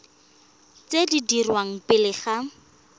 tse di dirwang pele ga